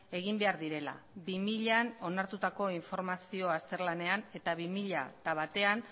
egin behar direla bi milaan onartutako informazio azterlanean eta bi mila bat